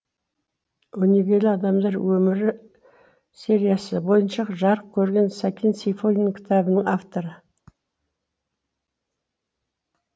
өнегелі адамдар өмірі сериясы бойынша жарық көрген сәкен сейфуллин кітабының авторы